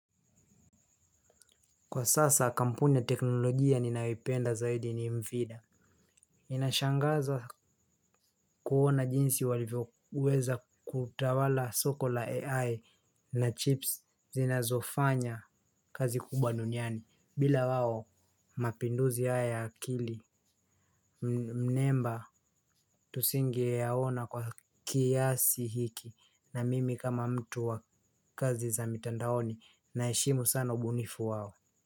Kwa sasa kampuni ya teknolojia ninayoipenda zaidi ni mvida. Inashangaza kuona jinsi waliveza kutawala soko la AI na chips zinazofanya kazi kubwa duniani. Bila waho mapinduzi haya akili mnemba tusingi yaona kwa kiasi hiki na mimi kama mtu wa kazi za mitandaoni na ishimu sana ubunifu waho.